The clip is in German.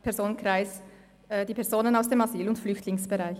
Personenkreis – Personen aus dem Asyl- und Flüchtlingsbereich.